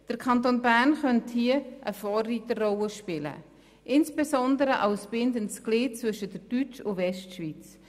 Der Kanton Bern könnte hier eine Vorreiterrolle spielen, insbesondere als bindendes Glied zwischen der Deutsch- und der Westschweiz.